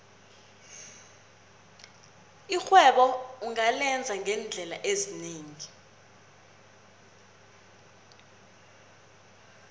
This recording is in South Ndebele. irhwebo ungalenza ngeendlela ezinengi